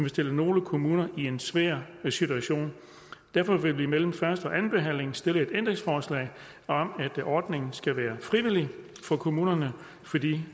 stille nogle kommuner i en svær situation derfor vil vi mellem første og andenbehandlingen stille et ændringsforslag om at ordningen skal være frivillig for kommunerne fordi